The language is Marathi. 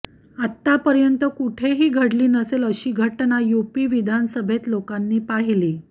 आत्तापर्यंत कुठेही घडली नसेल अशी घटना यूपी विधानसभेत लोकांनी पाहिली